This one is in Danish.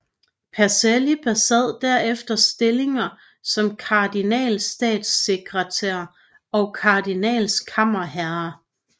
Pacelli besad derefter stillinger som kardinalstatssekretær og kardinalkammerherre